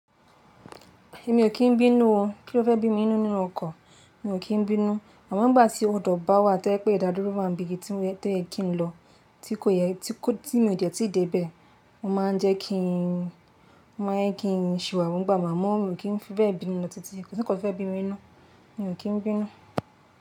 Èmi ò kí n bínú o. Kí ló fẹ́ bí mi nínú ọkan, mi ò kí n bínú. Àmọ́ n gbà tí hold up bá wà to jẹ pé ìdádúró wa ń bí ibi to yẹ kí n lọ tí kò yẹ, tí mi o dẹ tí ì dé bẹ̀, ó ma ń jẹ́ kí n, ó ma ń jẹ́ kí n ṣìwàwú. Má mọ́ mi ò kí n fi bẹ́ẹ̀ bínú lọ tìtí. Kò sí nkán fẹ́ bí mi inú, mi ò kí n bínú.